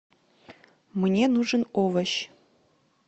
мне нужен овощ